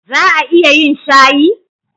Za a iya yin shayi?